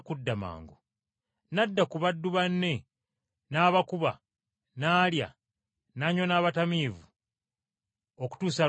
n’adda ku baddu banne, n’abakuba, n’alya, n’anywa n’abatamiivu, okutuusa lw’alidda.